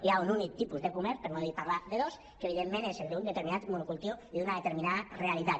hi ha un únic tipus de comerç per no parlar de dos que evidentment és el d’un determinat monocultiu i d’una determinada rea·litat